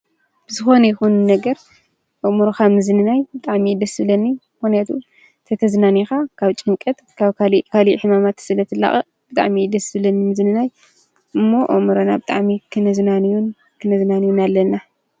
ብዝኮነ ይኩን ነገር ኣእምሮካ ንምዝንናይ ብጣዕሚ እዩ ደስ ዝብለኒ ምክንያቱ ተተዝናንካ ካብ ጭንቀት ካብ ካሊእ ካሊእ ሕማማት ስለ ትላቀቅ ብጣዕሚ እዩ ደስ ዝብለኒ ምዝንናይ ዘሎ እሞ ኣእምሮና ብጣዕሚ ክነዝናንዮ ከንዝናነ ኣለና።